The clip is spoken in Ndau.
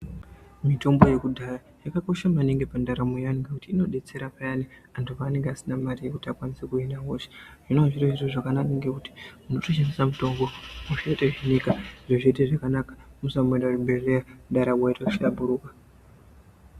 Mitombo yekudhaya yakakosha maningi pandaramo yevantu ngekuti inodetsera Payani antu panenge asina Mari yekuti akwanise kuhina hosha hino zvinova zviri zviro zvakanaka ngekuti unotoshandisa mutombo hosha yotohinika wotoenda kuzvibhedhlera ndaramo yohlamburuka.